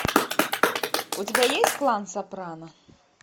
у тебя есть клан сопрано